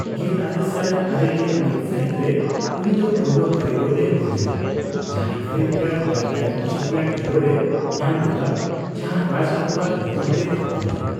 ᱜᱮᱞᱟᱨᱮᱥᱟᱭ ᱟᱨᱮᱜᱮᱞ ᱢᱤᱛ ᱥᱟᱹᱦᱤᱛ ᱨᱮ, ᱩᱱᱤ ᱫᱚ ᱯᱳᱭᱞᱳ ᱠᱟᱹᱨᱤᱜᱚᱞ ᱮ ᱦᱩᱭᱞᱮᱱᱟ ᱡᱟᱦᱟᱸᱭ Filmfare lifetime achievement award ᱮ ᱧᱟᱢ ᱞᱮᱫᱟ, ᱡᱟᱦᱟᱸ ᱨᱟᱡ ᱠᱟᱯᱩᱨᱟᱜ ᱧᱩᱛᱩᱢ ᱛᱮᱭ ᱛᱷᱟᱯᱚᱱ ᱞᱮᱱᱟ ᱾